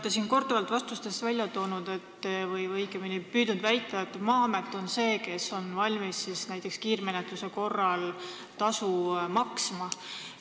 Te olete korduvalt vastustes välja toonud või õigemini püüdnud väita, et Maa-amet on see, kes on valmis näiteks kiirmenetluse korral tasu maksma.